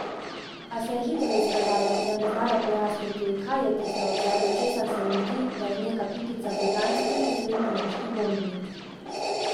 A se je hitro izkazalo, da ne znajo pojasniti, kaj je tisto, zaradi česar se jim zdi, da je neka pikica britanski oziroma nemški bombnik.